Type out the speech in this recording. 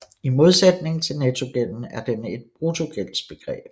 I modsætning til nettogælden er den et bruttogældsbegreb